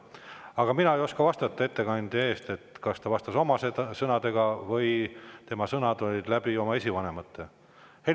Aga mina ei oska vastata ettekandja eest, kas ta vastas oma sõnadega või tuli tema vastus läbi tema esivanemate sõnade.